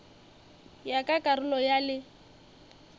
ya ka karolo ya le